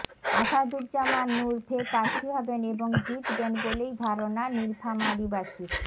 আসাদুজ্জামান নূর ফের প্রার্থী হবেন এবং জিতবেন বলেই ধারণা নীলফামারীবাসীর